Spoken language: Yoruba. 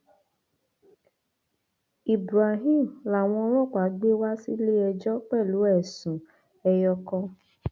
ibrahim làwọn ọlọpàá gbé wá sílé ẹjọ pẹlú ẹsùn ẹyọ kan